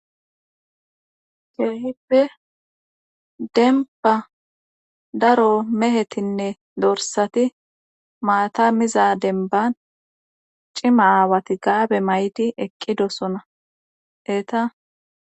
keehippe denba daro mehetinne dorsati maata miza denban cima aawati gaabe mayti eqqidosona eeta